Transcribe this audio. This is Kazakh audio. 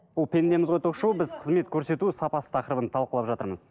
бұл пендеміз ғой ток шоуы біз қызмет көрсету сапасы тақырыбын талқылап жатырмыз